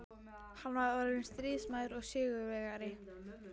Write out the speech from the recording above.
Hann var orðinn stríðsmaður og sigurvegari.